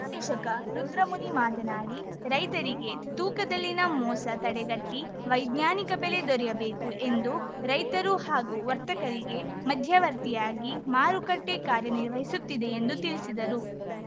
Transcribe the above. ನಿರ್ದೇಶಕ ರುದ್ರಮುನಿ ಮಾತನಾಡಿ ರೈತರಿಗೆ ತೂಕದಲ್ಲಿನ ಮೋಸ ತಡೆಗಟ್ಟಿವೈಜ್ಞಾನಿಕ ಬೆಲೆ ದೊರೆಯಬೇಕು ಎಂದು ರೈತರು ಹಾಗೂ ವರ್ತಕರಿಗೆ ಮಧ್ಯವರ್ತಿಯಾಗಿ ಮಾರುಕಟ್ಟೆಕಾರ್ಯನಿರ್ವಹಿಸುತ್ತಿದೆ ಎಂದು ತಿಳಿಸಿದರು